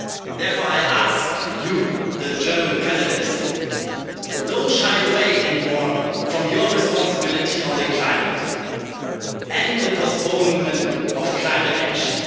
Therefore, I ask you, the German Presidency, don't shy away any more from your responsibility on the climate and the postponement of climate action.